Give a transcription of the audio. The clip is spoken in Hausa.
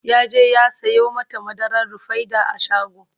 yaje ya Sayo mata madarar rufaida a shago